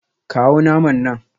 Kawo naman nan